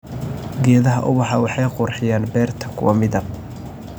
Geedaha ubaxa waxay qurxiyaan beerta kwa midab.